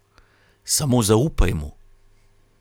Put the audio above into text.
Samo zaupaj mu.